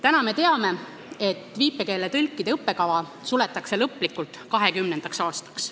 Täna me teame, et viipekeele tõlkide õppekava suletakse lõplikult 2020. aastaks.